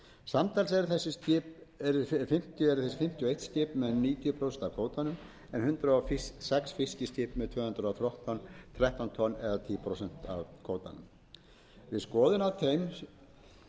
samtals eru þessi fimmtíu og eitt skip með níutíu prósent af kvótanum en hundrað og sex fiskiskip með tvö hundruð og þrettán tonn eða tíu prósent af kvótanum við skoðun